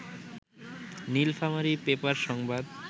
Nilphamari paper সংবাদ